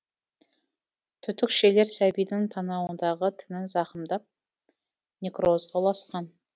түтікшелер сәбидің танауындағы тінін зақымдап некрозға ұласқан